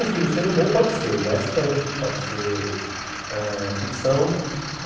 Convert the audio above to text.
Um filme sendo bom pode ser western, pode ser eh ficção.